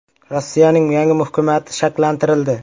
Rossiyaning yangi hukumati shakllantirildi.